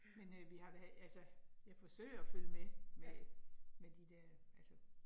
Men øh vi har da, altså jeg forsøger at følge med med med de der altså